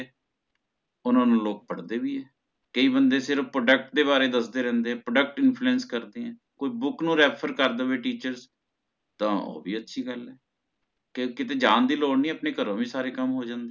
ਓਹਨਾ ਨੂ ਲੋਕ ਪੜਦੇ ਵੀ ਹੈ ਕਈ ਬੰਦੇ ਸਿਰਫ product ਦੇ ਬਾਰੇ ਦਸਦੇ ਰਹੰਦੇ ਤੇ product influence ਕਰਦੇ ਹੈ ਕੋਈ book ਨੂ Refer ਕਰ ਦੇਵੇ teachers ਤਾ ਓ ਵੀ ਅੱਛੀ ਗੱਲ ਹੈ ਤੇ ਕੀਤੇ ਜਾਣ ਦੀ ਲੋੜ ਨੀ ਆਪਣੇ ਘਰ ਵੀ ਸਾਰੇ ਕਾਮ ਹੋ ਜਾਂਦੇ ਹੈ